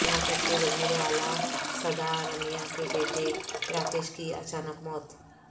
کرناٹک کے وزیراعلی سدا رمیا کے بیٹے راکیش کی اچانک موت